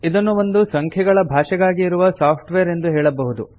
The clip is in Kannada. ಇದನ್ನು ಒಂದು ಸಂಖ್ಯೆಗಳ ಭಾಷೆಗಾಗಿ ಇರುವ ಸಾಫ್ಟ್ ವೇರ್ ಎಂದು ಹೇಳಬಹುದು